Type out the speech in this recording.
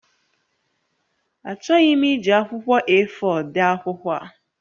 Achọghị m iji akwụkwọ A4 dee akwụkwọ a